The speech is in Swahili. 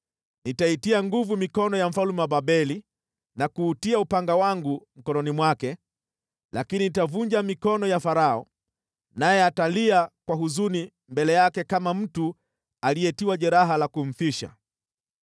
Nitaitia nguvu mikono ya mfalme wa Babeli na kuutia upanga wangu mkononi mwake, lakini nitavunja mikono ya Farao, naye atalia kwa huzuni mbele yake kama mtu aliyetiwa jeraha la kumfisha.